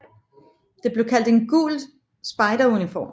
Det blev kaldt en gul spejderuniform